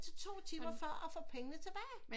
To timer før og få pengene tilbage